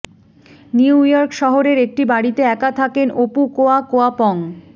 new York শহরের একটি বাড়িতে একা থাকেন ওপুকোয়া কোয়াপং